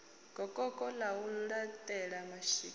gokoko ḽa u laṱela mashika